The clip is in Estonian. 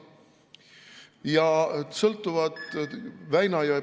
Nad sõltuvad Väina jõe ...